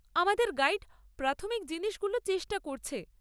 আমাদের গাইড প্রাথমিক জিনিসগুলো চেষ্টা করছে।